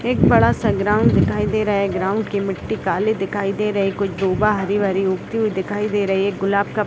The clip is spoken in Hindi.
एक बड़ा सा ग्राउंड दिखाई दे रहा है ग्राउंड की मिट्टी काली दिखाई दे रही है कुछ हरी-भरी उगती हुई दिखाई दे रही है एक गुलाब का --